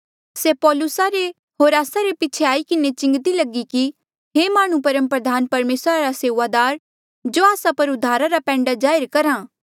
से पौलुसा रे होर आस्सा रे पीछे आई किन्हें चिलांदी लगी कि ये माह्णुं परमप्रधान परमेसरा रा सेऊआदार आ जो आस्सा पर उद्धार रा पैंडा जाहिर करहा